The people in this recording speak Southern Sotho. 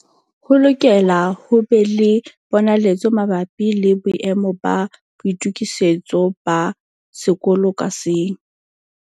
Ho lokela ho be le ponaletso mabapi le boemo ba boitokisetso ba sekolo ka seng.